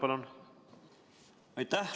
Aitäh!